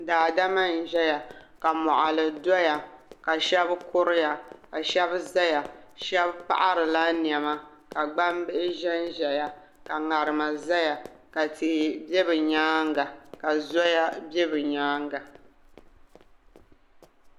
daadama n-ʒeya ka mɔɣili doya ka shɛba kuriya ka shɛba zaya shɛba paɣiri la nɛma ka gbambihi ʒe n-ʒeya ka ŋarima ʒeya ka tihi be bɛ nyaaga ka zoya be bɛ nyaaga.